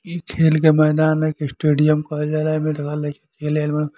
इ खेल के मैदान ह एके स्टेडियम कहल जाला एमें देख लइका खेले आइल बालें |